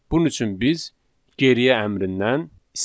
Bunun üçün biz geriyə əmrindən istifadə edirik.